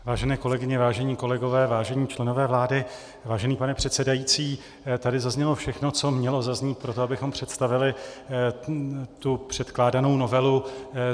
Vážené kolegyně, vážení kolegové, vážení členové vlády, vážený pane předsedající, tady zaznělo všechno, co mělo zaznít pro to, abychom představili předkládanou novelu.